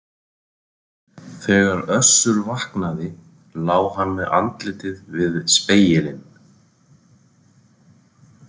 Þegar Össur vaknaði lá hann með andlitið við spegilinn.